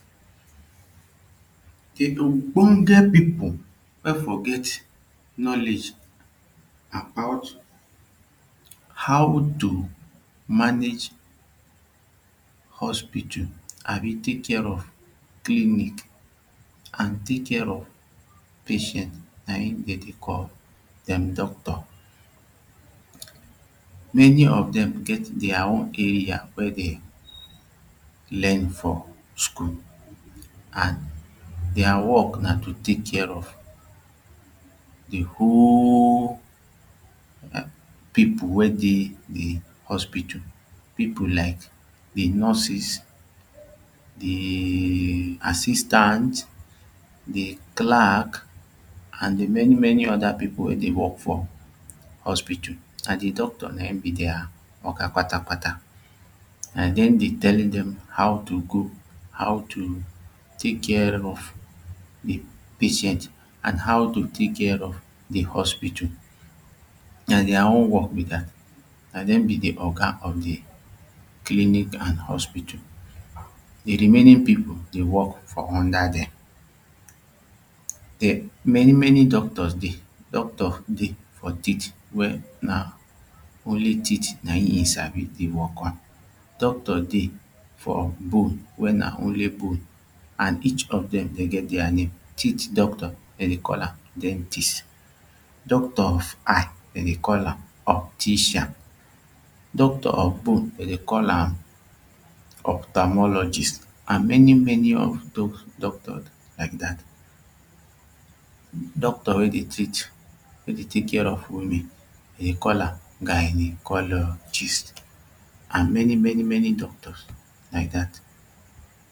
The ogbonge people wey for get knowledge about how to manage hospital abi take care of clinic and take care of patient na him dem dey call dem doctor many of them get their own area weydem learn for school and their work na to take care of the whole people weydey the hospital people like the nurses the assistant de clerk an de many many oda people wey dey work for hospital na de doctor na him be dia oga pata pata dem dey tell them how to go how to tek care of de patient and how to take care of the hospital na their own work be that na them be the oga of the clinic and hospital. The remaining people dey work for under them. Many many doctors dey doctor dey for teeth wey na only teeth na him him Sabi the work on. Doctor dey for bone wey na only bone and each of them dey get their name. Teeth doctor dey dey call am dentist doctor of eye dem dey call am optician. Doctor of bone dem dey call am ophthalmologist and many many of those doctor like that doctor wey dey treat wey dey take care of woman demdey call am gynecologist and many many doctors like that